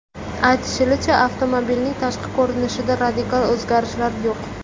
Aytilishicha, avtomobilning tashqi ko‘rinishida radikal o‘zgarishlar yo‘q.